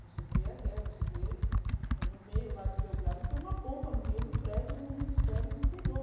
Você vê a guerra, você vê... No meio lá de Belgrado tem uma bomba, no meio do prédio do Ministério do Interior.